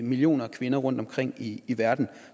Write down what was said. millioner af kvinder rundtomkring i i verden